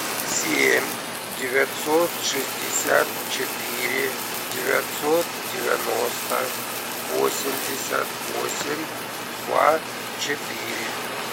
семь девятьсот шестьдесят четыре девятьсот девяносто восемьдесят восемь два четыре